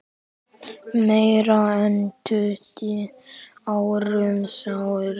Meira en tuttugu árum síðar.